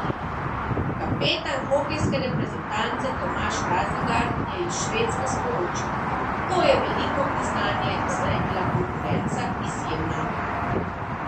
Kapetan hokejske reprezentance Tomaž Razingar je iz Švedske sporočil: "To je veliko priznanje, saj je bila konkurenca izjemna.